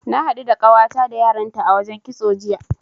Na haɗu da ƙawata da yaranta a wajen kitso, jiya.